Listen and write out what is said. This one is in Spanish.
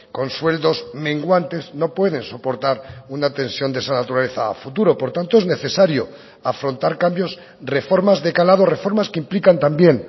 con sueldos menguantes no puede soportar una tensión de esa naturaleza a futuro por tanto es necesario afrontar cambios reformas de calado reformas que implican también